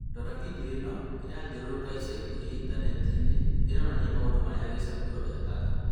Rora video ĩno ĩrathiũrũrũka ica Intaneti-inĩ Ĩronania maũndũ marĩa kichakuro ekaga.